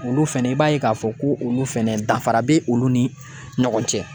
Olu fɛnɛ i b'a ye k'a fɔ ko olu fɛnɛ danfara be olu ni ɲɔgɔn cɛ.